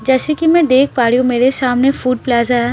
जैसे की मैं देख पा रही हूँ मेरे सामने फूड प्लाजा है --